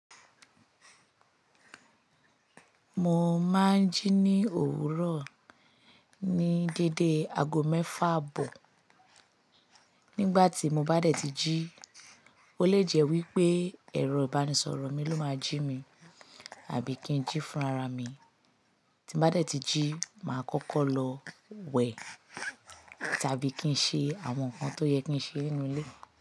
Mo máa ń jí ní òwúrọ̀ ní dédé ago mẹ́fà abọ̀. Nígbà tí mo bá dẹ̀ ti jí, ó lè jẹ́ wípé ẹ̀rọ ìbánisọ̀rọ̀ mi ló máa jí mi àbí kí n jí fún ara mi. Tí mo bá dẹ̀ ti jí, màá kọ́kọ́ lọ wẹ̀ tàbí kí ń ṣe àwọn nǹkan tó yẹ kí ń ṣe nínú ilé.